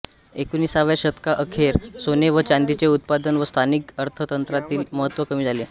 एकोणिसाव्या शतका अखेर सोने व चांदीचे उत्पादन व स्थानिक अर्थतंत्रातील महत्त्व कमी झाले